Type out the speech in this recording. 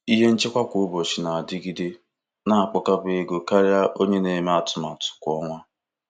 Ihe nchekwa kwa ụbọchị na-adịgide na-akpakọba ego karịa onye na-eme atụmatụ kwa ọnwa.